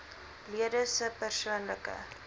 lede se persoonlike